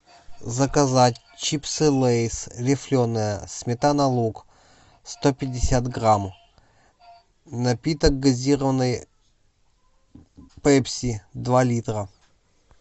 заказать чипсы лейс рифленые сметана лук сто пятьдесят грамм напиток газированный пепси два литра